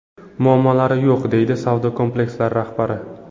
Muammolari yo‘q”, – deydi savdo kompleksi rahbari.